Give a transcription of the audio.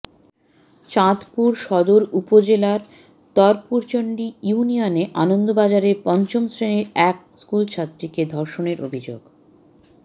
চাঁদপুর সদর উপজেলার তরপুরচন্ডি ইউনিয়নে আনন্দবাজারের পঞ্চম শ্রেণির এক স্কুলছাত্রীকে ধর্ষণের অভিযোগ